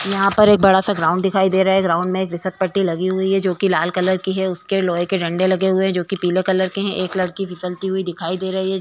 यहाँ पर एक बडा सा ग्राउंड दिखाई दे रहा है। ग्राउंड में खिसकपट्टी लगी हुवी है जो कि लाल कलर की है उसके लोहे के डंडे लगे हुए है जो कि पीले कलर के है। एक लड़की फिसलती हुई दिखाई दे रही है।